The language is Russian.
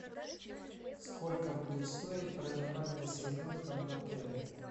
сколько будет стоить проживание с ребенком в отеле